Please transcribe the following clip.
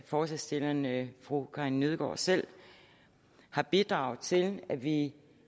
forslagsstillerne fru karin nødgaard selv har bidraget til at vi